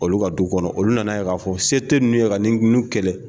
Olu ka du kɔnɔ olu nan'a ye k'a fɔ se tɛ ninnu ye ka nin kɛlɛ